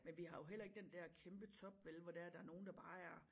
Men vi har jo heller ikke den dér kæmpe top vel hvor der er nogen der bare er